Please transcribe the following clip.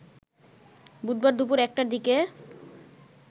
বুধবার দুপুর ১টার দিকে